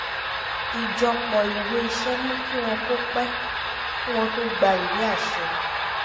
ìjọpọ̀ ìwé iṣẹ́ mú kí wọ́n kó pẹ̀ kí wọ́n tó gba ìwé àṣẹ